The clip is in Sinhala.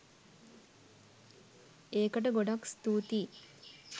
ඒකට ගොඩක් ස්තූතියි!